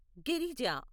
Girija